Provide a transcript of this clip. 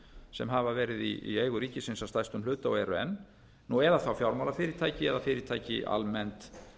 sem hafa verið í eigu ríkisins að stærstum hluta og eru enn eða þá fjármálafyrirtæki eða fyrirtæki almennt